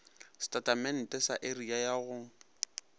setatamente sa area ya go